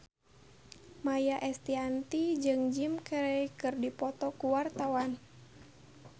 Maia Estianty jeung Jim Carey keur dipoto ku wartawan